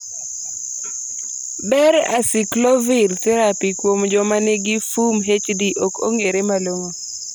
ber acyclovir therapy kuom jomanigi FUMHD ok ong'ere malong'o